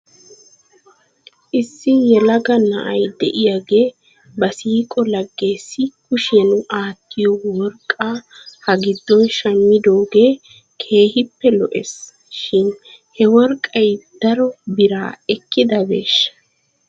Issi yelaga na'a diyaagee ba siiqo laggeessi kushiyan aattiyo worqqaa ha giddon shammidoogee keehippe lo'es, shin he worqqay dari biraa ekkidabeesha?